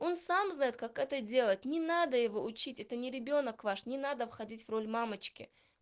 он сам знает как это делать не надо его учить это не ребёнок ваш не надо входить в роль мамочки